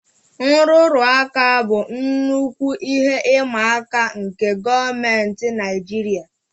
Nrụrụ aka bụ nnukwu ihe ịma aka nke gọọmentị Naijiria